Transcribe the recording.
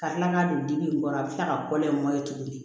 Ka tila ka don dimi in kɔrɔ a bɛ tila ka kɔlɔn in bɔ ye tuguni